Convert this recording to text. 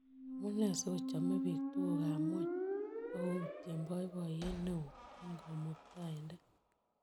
Amunee sigochomee biik tugukap g'wony ak koutien boiboiyet neo eng' Kamuktaindet